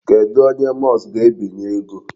Kedụ onye Musk ga-ebinye ego?